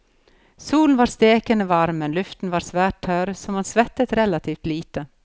Solen var stekende varm, men luften var svært tørr, så man svettet relativt lite.